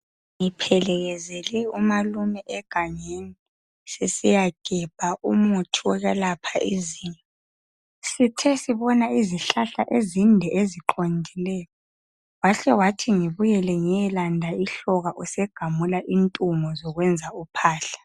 Ngilekezele umalume egangeni sesiyagebha umuthi olapha izinyo sithe sibona izihlahla ezinde eziqondileyo wahle wathi ngibuyele ngiyelanda ihloka usegamula intungo zokwenza uphahla.